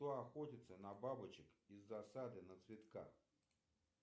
кто охотится на бабочек из засады на цветках